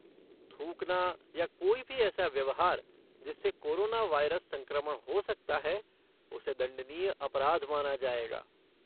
थूकना या कोई भी ऐसा व्यवहार जिससे कोरोना वायरस संक्रमण हो सकता है, उसे दण्डनीय अपराध मना जाएगा।